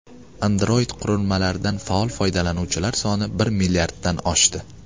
Android qurilmalaridan faol foydalanuvchilar soni bir milliarddan oshdi.